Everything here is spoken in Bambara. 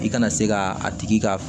I kana se ka a tigi ka